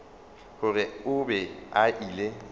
gore o be a ile